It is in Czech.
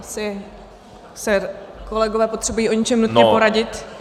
Asi se kolegové potřebují o něčem nutně poradit.